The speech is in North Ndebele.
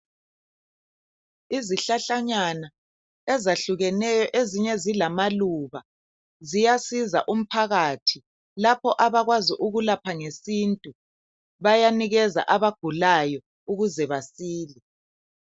Izihlahlanyana ezahlukeneyo ezinye zilamaluba ziyasiza umphakathi lapha abakwazi ukulapha ngesintu bayanikeza abagulayo ukuze basile.